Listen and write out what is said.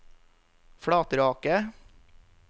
Flatraket